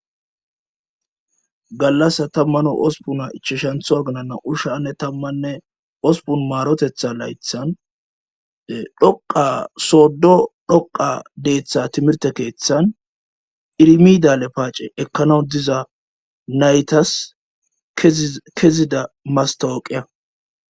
gallasa tammane ospun ichishantho agnanna ushshanne tammanne ospun maarotetha laythan dhoqa soddo dhoqa deeththa timirte keeththan irmidale paace ekkanaw diza naytas kezida mastawoqeya